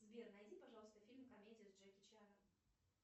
сбер найди пожалуйста фильм комедия с джеки чаном